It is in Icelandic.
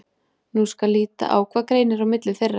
Nú skal líta á hvað greinir á milli þeirra.